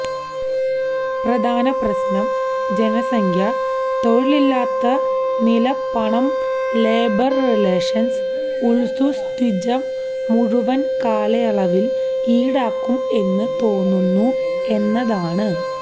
പ്രധാന പ്രശ്നം ജനസംഖ്യ തൊഴിലില്ലാത്ത നില പണം ലേബർ റിലേഷൻസ് ഒത്സുസ്ത്വിജ മുഴുവൻ കാലയളവിൽ ഈടാക്കും എന്ന് തോന്നുന്നു എന്നതാണ്